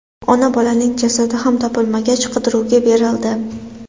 Ona-bolaning jasadi ham topilmagach, qidiruvga berildi.